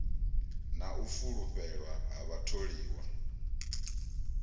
na u fulufhelwa ha vhatholiwa